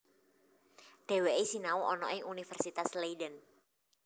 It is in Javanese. Dhèwèké sinau ana ing Universitas Leiden